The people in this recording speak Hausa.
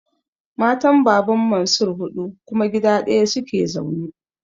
Matan Baban Mansir huɗu kuma gida ɗaya su ke zaune.